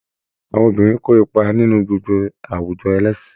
Àwọn obìnrin kó ipa nínú gbogbo àwùjọ ẹlẹ́sìn